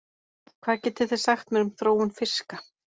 Hvað getið þið sagt mér um þróun fiska?